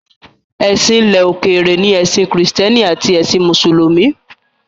Èsìn ilẹ̀ òkèrè ni ẹ̀sìn kìrìsìtẹ́nì àti ẹ̀sìn mùsùlùmí.